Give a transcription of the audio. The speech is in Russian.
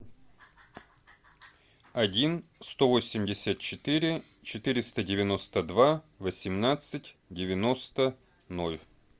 один сто восемьдесят четыре четыреста девяносто два восемнадцать девяносто ноль